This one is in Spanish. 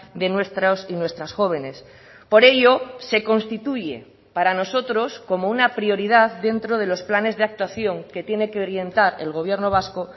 de nuestros y nuestras jóvenes por ello se constituye para nosotros como una prioridad dentro de los planes de actuación que tiene que orientar el gobierno vasco